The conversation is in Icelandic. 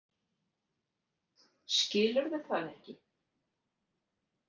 Skilurðu það ekki?